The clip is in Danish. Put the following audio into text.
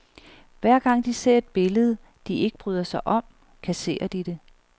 Hver gang de ser et billede, de ikke bryder sig om, kasserer de det.